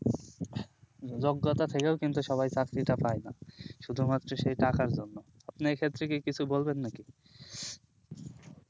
যোগ্যতা থেকেও কিন্তু সবাই চাকরি টা পাই না শুধু মাত্র সেই টাকার জন্য আপনি এই ক্ষেত্রে বলবেন নাকি